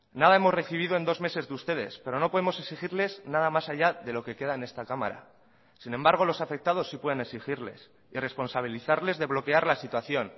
nada hemos recibido en dos meses de ustedes pero no podemos exigirles nada más allá de lo que queda en esta cámara sin embargo los afectados sí pueden exigirles y responsabilizarles de bloquear la situación